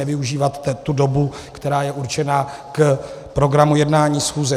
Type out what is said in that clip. Nevyužívat tu dobu, která je určená k programu jednání schůze.